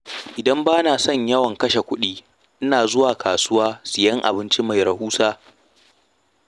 Idan ba na son yawan kashe kuɗi ina zuwa kasuwa siyan abinci mai rahusa.